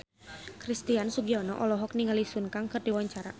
Christian Sugiono olohok ningali Sun Kang keur diwawancara